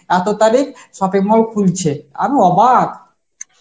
এত তারিখ shopping mall খুলছে, আমি অবাক